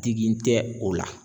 Digi tɛ o la.